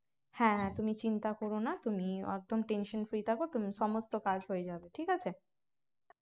হ্যাঁ হ্যাঁ তুমি চিন্তা কর না তুমি একদম tension free থাকো তুমি সমস্ত কাজ হয়ে যাবে ঠিক আছে